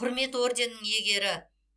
құрмет орденінің иегері